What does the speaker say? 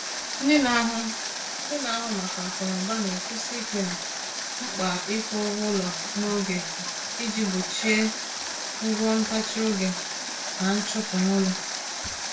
Ndị na-ahụ Ndị na-ahụ maka akụnụba na-ekwusi ike na mkpa ịkwụ ụgwọ ụlọ n’oge iji gbochie ụgwọ ntachi oge na nchụpụ n’ụlọ.